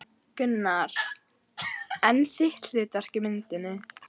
Gunnar: En þitt hlutverk í myndinni?